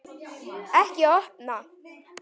Ekki opna